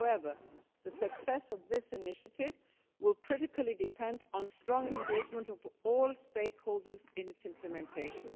However, the success of this initiative will, critically, depend on the strong engagement of all stakeholders in its implementation.